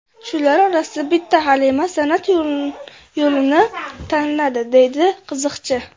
Shular orasida bitta Halima san’at yo‘lini tanladi”, deydi qiziqchi.